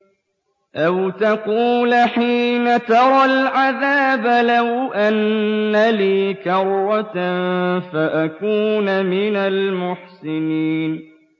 أَوْ تَقُولَ حِينَ تَرَى الْعَذَابَ لَوْ أَنَّ لِي كَرَّةً فَأَكُونَ مِنَ الْمُحْسِنِينَ